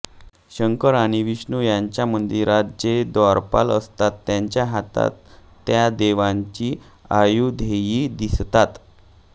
शंकर किंवा विष्णू यांच्या मंदिराचे जे द्वारपाल असतात त्यांच्या हातात त्या देवतांची आयुधेही दिसतात